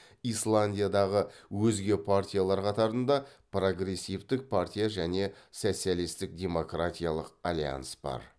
исландиядағы өзге партиялар қатарында прогрессивтік партия және социалистік демократиялық альянс бар